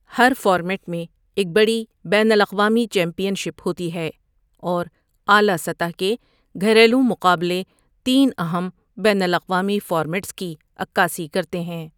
ہر format میں ایک بڑی بین الاقوامی چیمپئن شپ ہوتی ہے، اور اعلیٰ سطح کے گھریلو مقابلے تین اہم بین الاقوامی فارمیٹس کی عکاسی کرتے ہیں۔